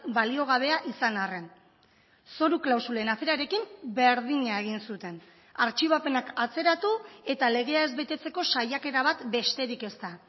baliogabea izan arren zoru klausulen aferarekin berdina egin zuten artxibapenak atzeratu eta legea ez betetzeko saiakera bat besterik ez da